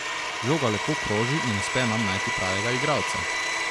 Žoga lepo kroži in uspe nam najti pravega igralca.